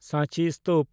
ᱥᱟᱸᱪᱤ ᱥᱛᱩᱯ